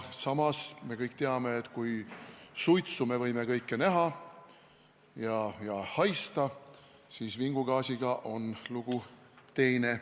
Samas me kõik teame, et kui suitsu me võime näha ja haista, siis vingugaasiga on lugu teine.